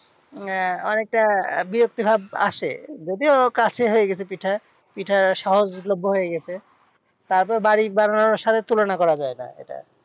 আহ অনেকটা বিরক্তিভাব আসে। যদিও কাছে হয়ে গেছে পিঠা, পিঠা সহজলভ্য হয়ে গেছে তারপর বাড়ির বানানোর সাথে তুলনা করা যায়না এটা।